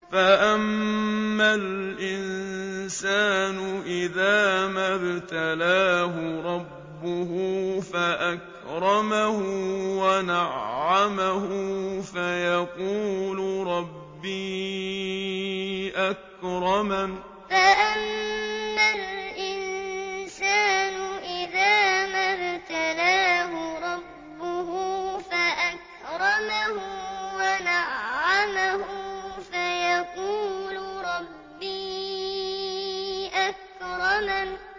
فَأَمَّا الْإِنسَانُ إِذَا مَا ابْتَلَاهُ رَبُّهُ فَأَكْرَمَهُ وَنَعَّمَهُ فَيَقُولُ رَبِّي أَكْرَمَنِ فَأَمَّا الْإِنسَانُ إِذَا مَا ابْتَلَاهُ رَبُّهُ فَأَكْرَمَهُ وَنَعَّمَهُ فَيَقُولُ رَبِّي أَكْرَمَنِ